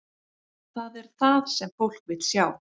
Það er það sem fólk vill sjá.